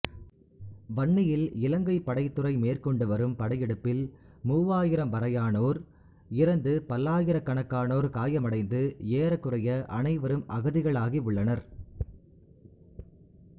வன்னியில் இலங்கைப் படைத்துறை மேற்கொண்டுவரும் படையெடுப்பில் மூவாயிரம் வரையானோர் இறந்து பல்லாயிரக்கணக்காணோர் காயமடைந்து ஏறக்குறைய அனைவரும் அகதிகளாகி உள்ளனர்